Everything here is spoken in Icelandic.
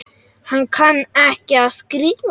Hann kann ekki að skrifa.